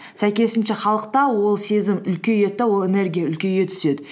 сәйкесінше халықта ол сезім үлкейеді де ол энергия үлкейе түседі